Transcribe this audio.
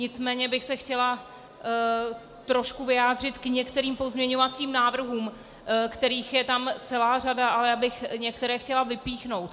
Nicméně bych se chtěla trochu vyjádřit k některým pozměňovacím návrhům, kterých je tam celá řada, ale já bych některé chtěla vypíchnout.